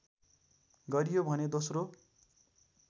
गरियो भने दोस्रो